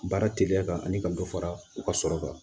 Baara teliya ka ni ka dɔ fara u ka sɔrɔ kan